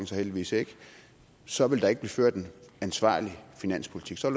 så heldigvis ikke så ville der ikke blive ført en ansvarlig finanspolitik så